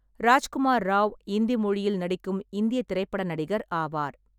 ராஜ்குமார் ராவ் இந்தி மொழியில் நடிக்கும் இந்திய திரைப்பட நடிகர் ஆவார்.